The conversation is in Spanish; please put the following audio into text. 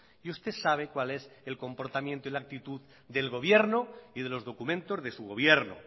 y usted sabe cuál es el comportamiento y la actitud del gobierno y de los documentos de su gobierno